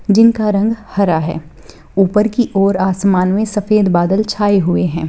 जिनका रंग हरा है ऊपर की ओर आसमान में सफ़ेद बादल छाए हुए है।